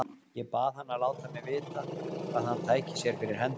Ég bað hann að láta mig vita, hvað hann tæki sér fyrir hendur.